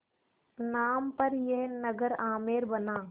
नाम पर यह नगर आमेर बना